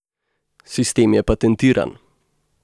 Sistem je patentiran.